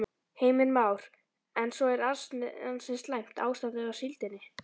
Heimir Már: En svo er ansi slæmt ástandið á síldinni?